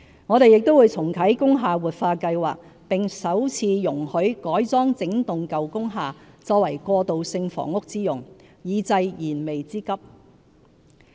我們亦會重啟"工廈活化計劃"，並首次容許改裝整幢舊工廈作過渡性房屋之用，以濟燃眉之急。